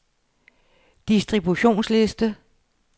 distributionsliste